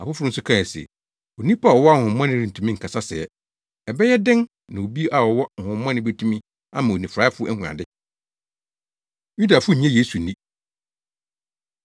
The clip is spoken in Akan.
Afoforo nso kae se, “Onipa a ɔwɔ honhommɔne rentumi nkasa sɛɛ! Ɛbɛyɛ dɛn na obi a ɔwɔ honhommɔne betumi ama onifuraefo ahu ade?” Yudafo Nnye Yesu Nni